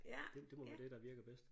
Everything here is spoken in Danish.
Det det må være det der virker bedst